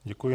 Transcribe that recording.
Děkuji.